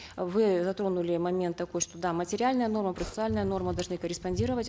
вы затронули момент такой что да материальная норма процессуальная норма должны корреспондировать